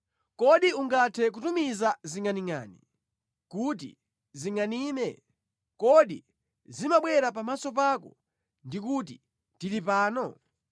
Kodi ungathe kutumiza zingʼaningʼani kuti zingʼanime? Kodi zimabwera pamaso pako ndi kuti, ‘Tili pano?’